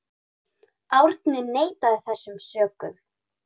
Árni neitaði þessum sökum.